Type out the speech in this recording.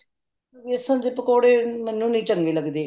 ਬੇਸਨ ਦੇ ਪਕੌੜੇ ਮੈਨੂੰ ਨਹੀਂ ਚੰਗੇ ਲਗਦੇ